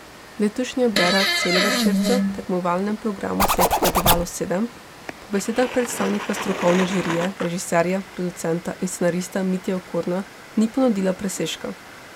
Letošnja bera celovečercev, v tekmovalnem programu se jih je potegovalo sedem, po besedah predstavnika strokovne žirije, režiserja, producenta in scenarista Mitje Okorna ni ponudila presežka.